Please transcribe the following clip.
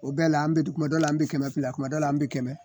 O bɛɛ la an bɛ du kuma dɔw la an bɛ kɛmɛ fila kuma dɔ la an bɛ kɛmɛ